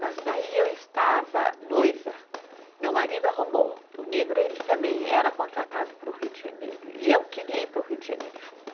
Mas daí eu estava noiva, meu marido arrumou, o negro também era contratado para o Rio de Janeiro e eu queria ir para o Rio de Janeiro junto.